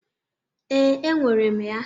Ee, enwere m ya.